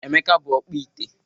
Emeka bụ ọkpụ ite.